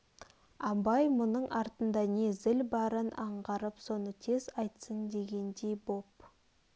абай мұның артында не зіл барын аңғарып соны тез айтсын дегендей боп